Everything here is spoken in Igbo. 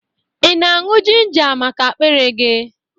Ị na-añwụ jinja maka akpịrị gị?